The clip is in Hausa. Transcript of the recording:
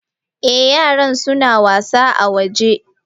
Eh yaran suna wasa a waje.